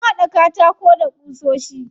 An haɗa katakon da ƙusoshi.